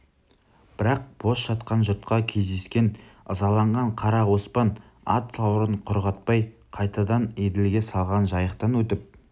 бірақ бос жатқан жұртқа кездескен ызаланған қара оспан ат сауырын құрғатпай қайтадан еділге салған жайықтан өтіп